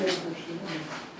Ağır şeylərdi.